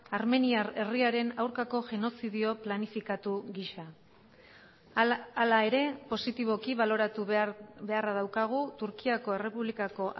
armeniar herriaren aurkako genozidio planifikatu gisa hala ere positiboki baloratu beharra daukagu turkiako errepublikako